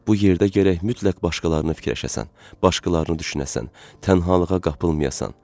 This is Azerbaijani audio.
Bu yerdə gərək mütləq başqalarını fikirləşəsən, başqalarını düşünəsən, tənhalığa qapılmayasan.